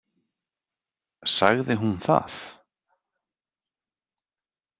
Sagði hún það?